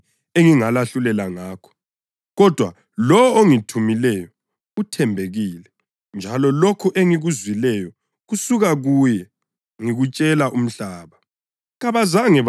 Kunengi engingalahlulela ngakho. Kodwa lowo ongithumileyo uthembekile njalo lokho engikuzwileyo kusuka kuye ngikutshela umhlaba.”